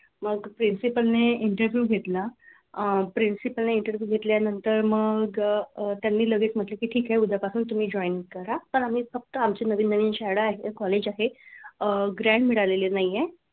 मग principle ने interview घेतला. अह principle ने interview घेतल्यानंतर मग अह त्यांनी लगेच म्हटलं की ठीक आहे उद्यापासून तुम्ही join करा पण आम्ही फक्त आमची नवीन नवीन शाळा college आहे अह grand मिळालेली नाहीये.